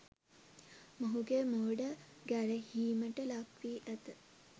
මොහුගේ මෝඩ ගැරහීමට ලක්වී ඇත.